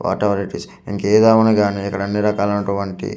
what ever it is ఇంకేదేమైనా గాని ఇక్కడ అన్నీ రకాలైనటువంటి--